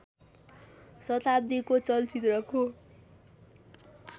शताब्दीको चलचित्रको